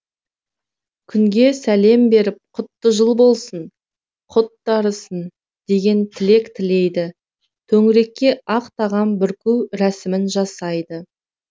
күнге сәлем беріп құтты жыл болсын құт дарысын деген тілек тілейді төңірекке ақ тағам бүрку рәсімін жасайды